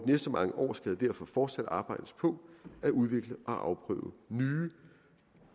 næste mange år skal der derfor fortsat arbejdes på at udvikle og afprøve nye